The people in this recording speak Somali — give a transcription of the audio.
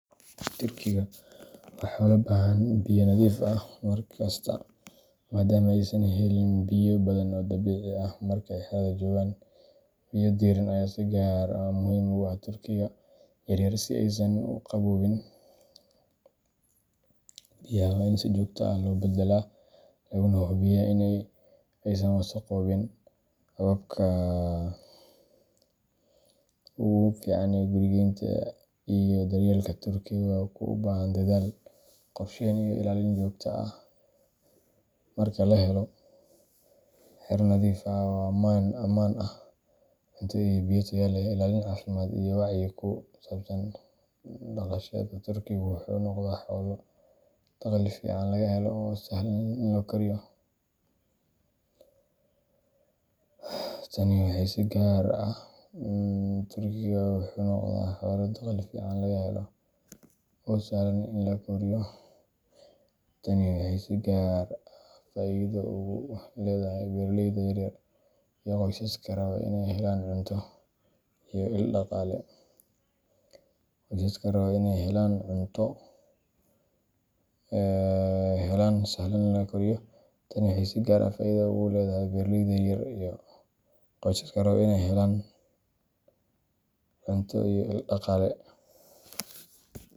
Turkigu waa xoolo u baahan biyo nadiif ah mar kasta, maadaama aysan heli karin biyo badan oo dabiici ah marka ay xerada joogaan. Biyo diirran ayaa si gaar ah muhiim ugu ah turkiga yaryar si aysan u qabooqin. Biyaha waa in si joogto ah loo beddelaa, lana hubiyaa in aysan wasakhoobin. Hababka ugu fiican ee guriyeynta iyo daryeelka turkiga waa kuwo u baahan dadaal, qorsheyn, iyo ilaalin joogto ah. Marka la helo xero nadiif ah oo ammaan ah, cunto iyo biyo tayo leh, ilaalin caafimaad, iyo wacyi ku saabsan dhaqashada, turkiga wuxuu noqdaa xoolo dakhli fiican laga helo oo sahlan in la koriyo. Tani waxay si gaar ah faa’iido ugu leedahay beeraleyda yar yar iyo qoysaska raba inay helaan cunto iyo il dhaqaale.